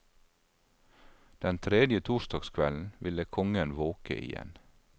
Den tredje torsdagskvelden ville kongen våke igjen.